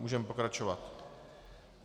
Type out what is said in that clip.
Můžeme pokračovat.